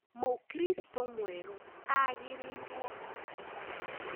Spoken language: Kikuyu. Mũkristo mwerũ agĩrĩirwo gũbatithio